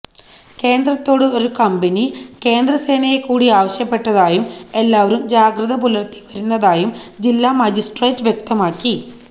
കേന്ദ്രത്തോട് ഒരു കമ്പനി കേന്ദ്രസേനയെക്കൂടി ആവശ്യപ്പെട്ടതായും എല്ലാവരും ജാഗ്രത പുലർത്തി വരുന്നതായും ജില്ലാ മജിസ്ട്രേറ്റ് വ്യക്തമാക്കി